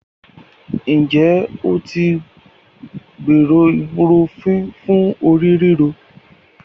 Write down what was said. Have you ever tried ibuprofen for a headache?